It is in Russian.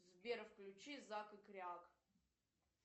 сбер включи зак и кряк